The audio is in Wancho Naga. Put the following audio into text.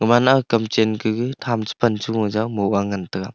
pan nang tamchan kage than cha mih jao ngan taga.